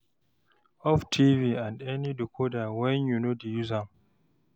off tv and any decoder wen yu no dey use am